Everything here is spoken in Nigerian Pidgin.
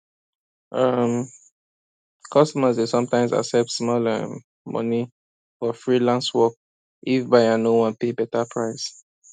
um customers dey sometimes accept small um money for freelance work if buyer no wan pay better price